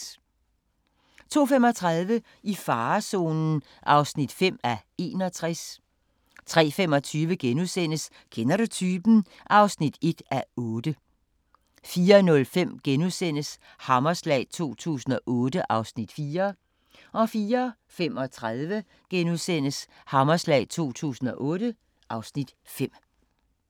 02:35: I farezonen (5:61) 03:25: Kender du typen? (1:8)* 04:05: Hammerslag 2008 (Afs. 4)* 04:35: Hammerslag 2008 (Afs. 5)*